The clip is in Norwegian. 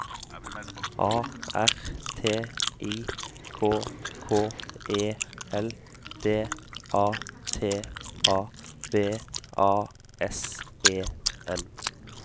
A R T I K K E L D A T A B A S E N